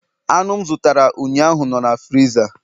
anụ m zụtara ụnyaahụ nọ na friza